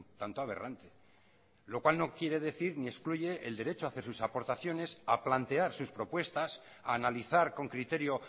tanto aberrante lo cual no quiere decir ni excluye el derecho a hacer sus aportaciones a plantear sus propuestas a analizar con criterio